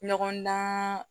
Ɲɔgɔndan